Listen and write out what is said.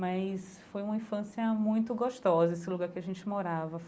Mas foi uma infância muito gostosa, esse lugar que a gente morava.